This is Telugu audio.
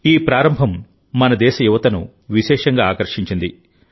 ఈ ప్రారంభం మన దేశ యువతను విశేషంగా ఆకర్షించింది